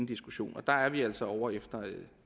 diskussion og dér er vi altså ovre efter